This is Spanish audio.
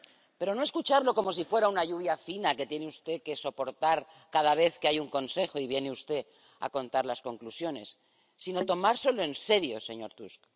Pero no escucharlo como si fuera una lluvia fina que tiene usted que soportar cada vez que hay un Consejo y viene usted a contar las conclusiones, sino tomárselo en serio, señor Tusk.